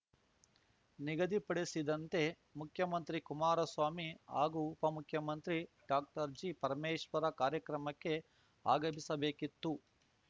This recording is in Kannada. ನಿಗದಿಪಡಿಸಿದಂತೆ ಮುಖ್ಯಮಂತ್ರಿ ಕುಮಾರಸ್ವಾಮಿ ಹಾಗೂ ಉಪಮುಖ್ಯಮಂತ್ರಿ ಡಾಕ್ಟರ್ ಜಿ ಪರಮೇಶ್ವರ ಕಾರ್ಯಕ್ರಮಕ್ಕೆ ಆಗಮಿಸಬೇಕಿತ್ತು